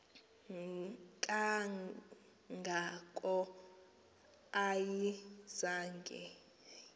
kanga ko ayizange